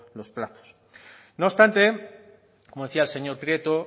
los plazos no obstante como decía el señor prieto